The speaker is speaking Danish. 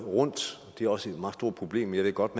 det er også et meget stort problem og jeg ved godt